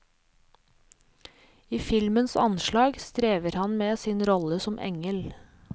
I filmens anslag strever han med sin rolle som engel.